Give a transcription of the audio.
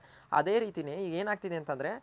ಅದೆ ರಿತಿನೆ ಏನ್ ಆಗ್ತಿದೆ ಅಂತ ಅಂದ್ರೆ